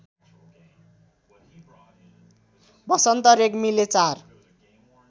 वसन्त रेग्मीले ४